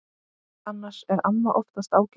Annars er amma oftast ágæt.